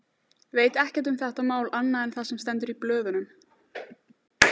Veit ekkert um þetta mál annað en það sem stendur í blöðunum.